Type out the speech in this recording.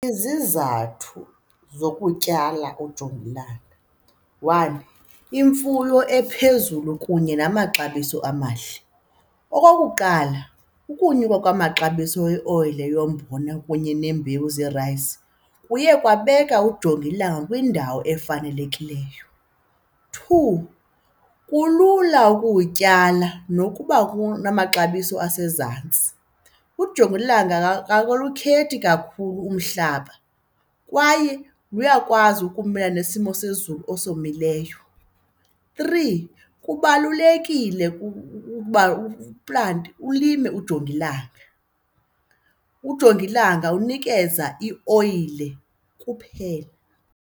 Izizathu zokutyala ujongilanga, one imfuyo ephezulu kunye namaxabiso amahle. Okokuqala, ukunyuka kwamaxabiso eoyile yombona kunye neembewu zeerayisi kuye kwababeka ujongilanga kwindawo efanelekileyo. Two, kulula ukuwutyala nokuba kunamaxabiso asezantsi, ujongilanga akalukhethi kakhulu umhlaba kwaye luyakwazi ukumelana nesimo sezulu esomileyo. Three, kubalulekile uba uplante, ulime ujongilanga. Ujongilanga unikeza ioyile kuphela.